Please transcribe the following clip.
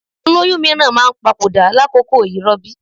Olóyún mìíràn máa papòdà lákòókò ìrọbí.